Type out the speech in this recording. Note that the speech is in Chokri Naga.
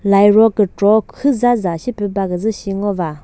lairo kükro khüza za shipü baküzü shi ngo va.